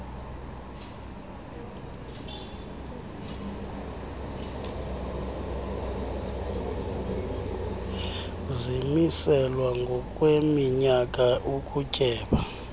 zimiselwa ngokweminyaka ukutyeba